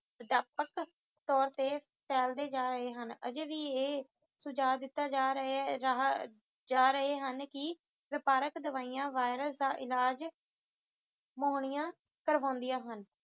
ਵਿਆਪਕ ਤੌਰ ਤੇ ਫੈਲਦੇ ਜਾ ਰਹੇ ਹਨ ਅੱਜੇ ਵੀ ਇਹ ਸੁਝਾਵ ਦਿੱਤਾ ਜਾ ਰਹਾ ਰਹੇ ਜਾ ਰਹੇ ਹਨ ਕਿ ਵਪਾਰਕ ਦਵਾਈਆਂ virus ਦਾ ਇਲਾਜ ਕਰਵਾਉਂਦੀਆਂ ਹਨ